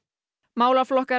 málaflokkar